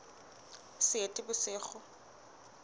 seetebosigo